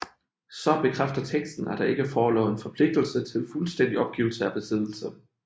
Så bekræfter teksten at der ikke forelå en forpligtelse til fuldstændig opgivelse af besiddelse